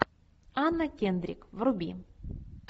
анна кендрик вруби